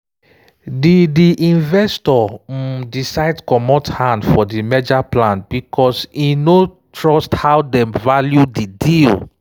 de de investor um decide comot hand for di merger plan because e no trust how dem value di deal.